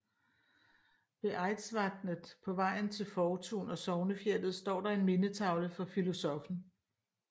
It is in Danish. Ved Eidsvatnet på vejen til Fortun og Sognefjellet står der en mindetavle for filosoffen